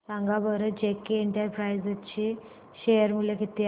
सांगा बरं JK enterprises share मूल्य किती आहे